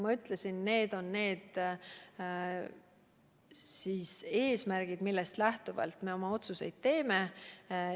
Ma ütlesin, mis on eesmärgid, millest lähtuvalt me oma otsuseid teeme.